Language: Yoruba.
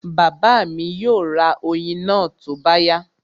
Bàbá mi yóò ra oyin náà tó bá yá